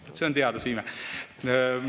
Vaat see on teaduse ime!